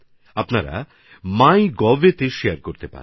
আপনারা মাইগভএ সেটা শেয়ার করতে পারেন